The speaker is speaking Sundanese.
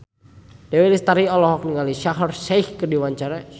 Dewi Lestari olohok ningali Shaheer Sheikh keur diwawancara